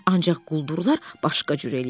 Ancaq quldurlar başqa cür eləyirlər,